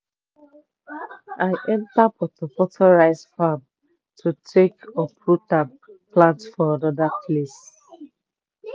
i enta portor portor rice farm to take uproot am plant for another place.